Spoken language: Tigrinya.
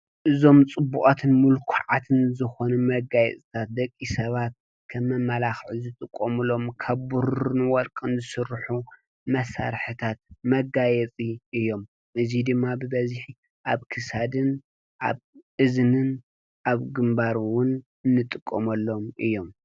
እዞም ኣዝዮም ፅቡቃትን ምልኩዓትን ዝኮኑ መጋየፅታት ደቂ ሰባት ከም መማላክዒ ዝጥቀምሎም ካብ ብሩርን ወርቅን ዝስርሑ መሳርሕታት መጋየፅቲ እዮም፡፡ እዚ ድማ ብበዝሒ ኣብ ክሰድን ኣብ እዝንን ኣብ ግንባር እውን እንጥቀመሎም እዮም፡፡